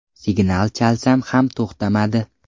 Signal chalsam ham to‘xtamadi.